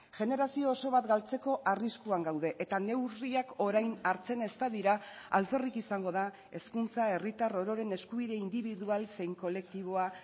generazio oso bat galtzeko arriskuan gaude eta neurriak orain hartzen ez badira alferrik izango da hezkuntza herritar ororen eskubide indibidual zein kolektiboa